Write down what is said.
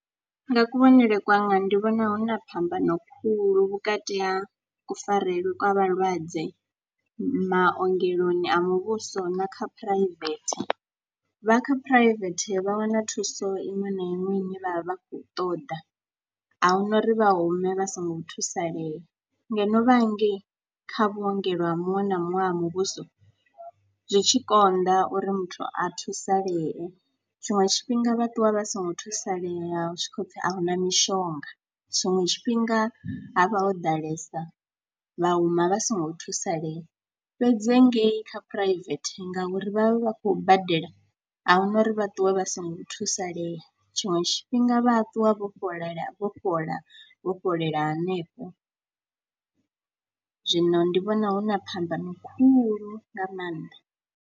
Nga kuvhonele kwanga ndi vhona hu na phambano khulu vhukati ha kufarelwe kwa vhalwadze maogeloni a muvhuso na kha phuraivethe, vha kha phuraivethe vha wana thuso iṅwe na iṅwe ine vha vha vha khou ṱoḓa, a hu na uri vha hume vha songo thusalea. Ngeno vha hangei kha vhuongelo ha muṅwe na muṅwe ha muvhuso zwi tshi konḓa uri muthu a thusalee, tshiṅwe tshifhinga vha ṱuwa vha songo thusalea hu tshi khou pfhi a hu na mishonga. Tshiṅwe tshifhinga ha vha ho ḓalesa vha huma vha songo thusalea fhedzi ngei kha phuraivethe ngauri vha vha khou badela, a hu na uri vha ṱuwe vha songo thusalea. Tshiṅwe tshifhinga vha ṱuwa vho fhola, vho fhola, vho fhelela hanefho zwino ndi vhona hu na phambano khulu nga maanḓa.